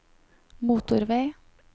motorvei